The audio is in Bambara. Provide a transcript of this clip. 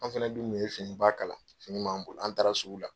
An fɛnɛ dun kun ye fini ba kala finiw b'an bolo an taara sugu la.